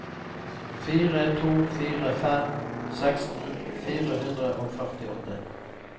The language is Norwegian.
fire to fire fem seksten fire hundre og førtiåtte